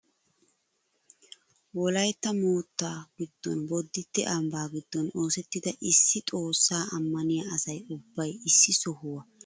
Wolayttaa moottaa giddon boditte ambbaa giddon oosettida issi xoossaa amaniyaa asay ubbay issi sohuwaa shiiqqidi konparanssiyaa keessidi heeran cenggurssay ayba wocamii!